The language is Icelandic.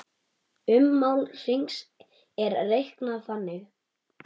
Ummál hrings er reiknað þannig